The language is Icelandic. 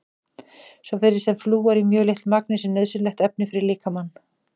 Svo virðist sem flúor í mjög litlu magni sé nauðsynlegt efni fyrir líkamann.